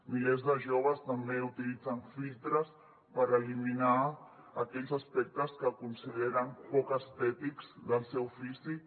milers de joves també utilitzen filtres per eliminar aquells aspectes que consideren poc estètics del seu físic